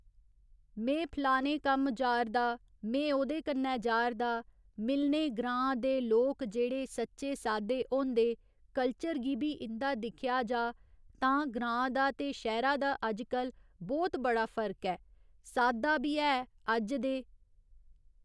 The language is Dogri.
में फलाने कम्म जारदा में ओह्दे कन्नै जारदा मिलने ग्रां दे लोक जेह्डे सच्चे साद्दे होंदे कल्चर गी बी इंदा दिक्खेआ जा तां ग्रां दा ते शैह्‌रा दा अजकल बहुत बड़ा फर्क ऐ साद्दा बी ऐअज्ज दे